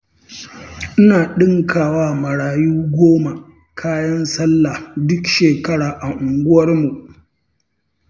Ina ɗinkawa marayu goma kayan sallah duk shekara a unguwarmu.